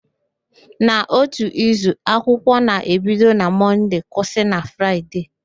N'ótù izu, akwụkwọ na-ebido na Mọnde kwụsị na Fraịde